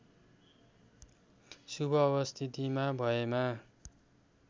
शुभ अवस्थितिमा भएमा